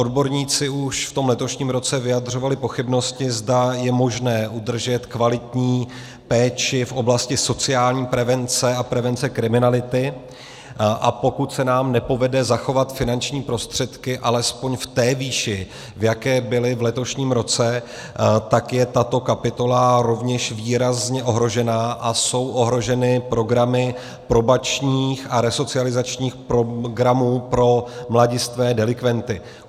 Odborníci už v tom letošním roce vyjadřovali pochybnosti, zda je možné udržet kvalitní péči v oblasti sociální prevence a prevence kriminality, a pokud se nám nepovede zachovat finanční prostředky alespoň v té výši, v jaké byly v letošním roce, tak je tato kapitola rovněž výrazně ohrožena a jsou ohroženy programy probačních a resocializačních programů pro mladistvé delikventy.